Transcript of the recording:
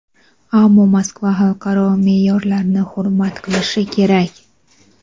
ammo Moskva xalqaro me’yorlarni hurmat qilishi kerak.